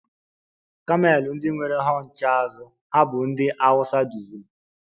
Kamel ndị nwere hunched azụ ha bụ ndị Hausa duziri.